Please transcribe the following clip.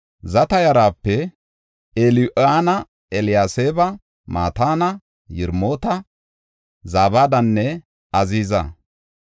Zata yarape Eliyo7ana, Eliyaseeba, Mataana, Yiremoota, Zabadanne Aziiza.